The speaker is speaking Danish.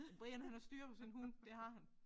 Så Brian han har styr på sin hund det har han